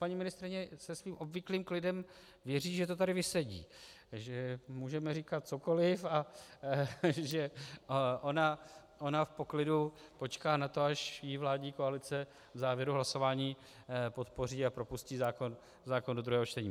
Paní ministryně se svým obvyklým klidem věří, že to tady vysedí, takže můžeme říkat cokoliv a ona v poklidu počká na to, až ji vládní koalice v závěru hlasování podpoří a propustí zákon do druhého čtení.